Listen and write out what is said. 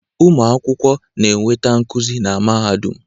Ụmụ akwụkwọ na-enweta nkuzi na mahadum